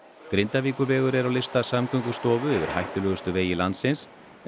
Grindavíkurvegur er á lista Samgöngustofu yfir hættulegustu vegi landsins en